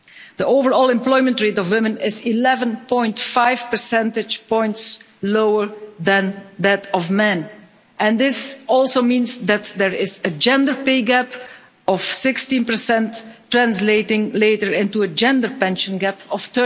the overall employment rate of women is 11.5 percentage points lower than that of men, and this also means that there is a gender pay gap of 16 translating later into a gender pension gap of